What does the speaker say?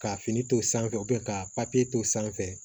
Ka fini to sanfɛ ka papiye to sanfɛ